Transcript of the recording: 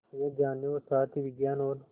यह जानने और साथ ही विज्ञान और